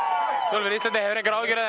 fyrir Íslandi hefur þú engar áhyggjur af því